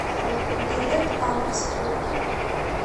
билет анекс тур